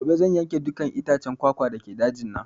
Gobe zan yanke dukka itaccen kwakwa dake dajin nan